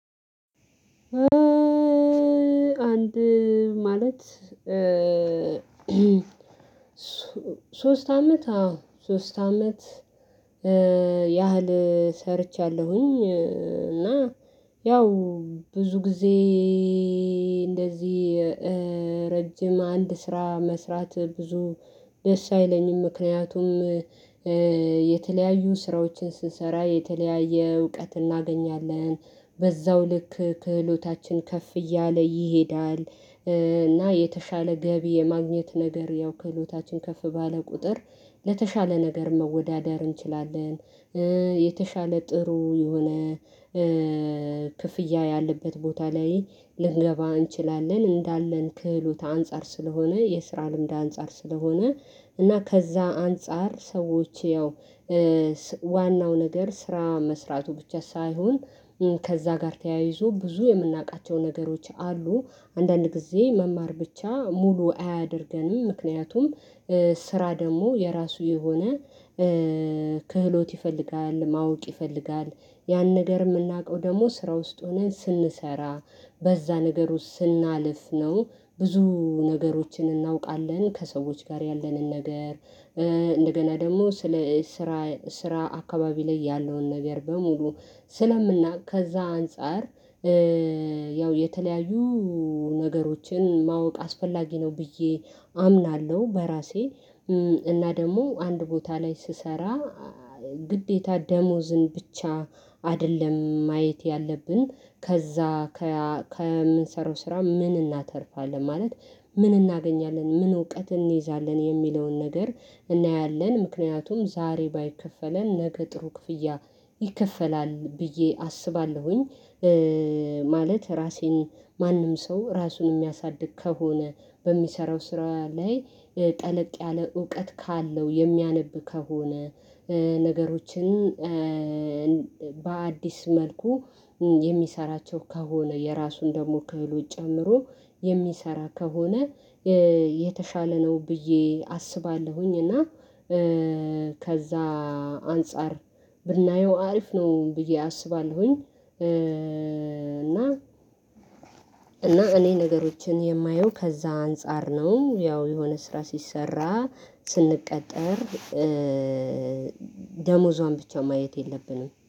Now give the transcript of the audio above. አንድ ማለት ሶስት አመት አዎ ሶስት አመት ያህል ሰርቻለሁኝ። እና ያው ብዙ ጊዜ እንደዚህ ረጅም አንድ ስራ መስራት ብዙ ደስ አይለኝም ምክንያቱም የተለያዩ ስራዎችን ስሰራ የተለያየ እውቀት እናገኛለን በዛው ልክ ክህሎታችን ከፍ እያለ ይሄዳል። እና የተሻለ ገቢ የማግኘት ነገር ያው ክህሎታችን ከፍ ባለ ቁጥር ለተሻለ ነገር መወዳደር እንችላለን። የተሻለ ጥሩ የሆነ ክፍያ ያለበት ቦታ ላይ ልንገባ እንችላለን። እንዳለን ክህሎት አንፃር ስለሆነ የስራ ልምድ አንፃር ስለሆነ እና ከዛ አንፃር ሰዎች ያው ዋናው ነገር ስራ መስራቱ ብቻ ሳይሆን ከዛ ጋር ተያይዞ ብዙ የምናውቃቸው ነገሮች አሉ። አንዳንድ ጊዜ መማር ብቻ ሙሉ አያደርገንም ምክንያቱም ስራ ደግሞ የራሱ የሆነ ክህሎት ይፈልጋል ማወቅ ይፈልጋል። ያን ነገር የምናውቀው ደግሞ ስራ ውስጥ ሆነን ስንሰራ በዛ ነገር ውስጥ ስናልፍ ነው ብዙ ነገሮችን እናውቃለን። ከሰዎች ጋር ያለንን ነገር እንደገና ደግሞ ስለ ስራ ስራ አካባቢ ላይ ያለውን ነገር በሙሉ ስለምናቅ ከዛ አንፃር። ያው የተለያዩ ነገሮችን ማወቅ አስፈላጊ ነው ብዬ አምናለሁ። በራሴ እና ደግሞ አንድ ቦታ ላይ ስሰራ ግዴታ ደሞዝን ብቻ አይደለም ማየት ያለብን። ከዛ ከምንሰራው ስራ ምን እናተርፋለን ማለት ምን እናገኛለን ምን እውቀት እንይዛለን የሚለውን ነገር እናያለን። ምክንያቱም ዛሬ ባይከፈለን ነገ ጥሩ ክፍያ ይከፈላል ብዬ አስባለሁኝ። ማለት ራሴን ማንም ሰው ራሱን የሚያሳድግ ከሆነ በሚሰራው ስራ ላይ ጠለቅ ያለ እውቀት ካለው የሚያነብ ከሆነ ነገሮችን በአዲስ መልኩ የሚሰራቸው ከሆነ የራሱን ደግሞ ክህሎት ጨምሮ የሚሰራ ከሆነ የተሻለ ነው ብዬ አስባለሁኝ። እና ከዛ አንፃር ብናየው አሪፍ ነው ብዬ አስባለሁኝ። እና እና እኔ ነገሮችን የማየው ከዛ አንፃር ነው ያው የሆነ ስራ ሲሰራ ስንቀጠር ደሞዟን ብቻ ማየት የለብንም